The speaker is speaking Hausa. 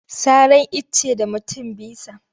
Saran icce da mutum bisa.